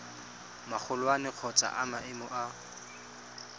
magolwane kgotsa wa maemo a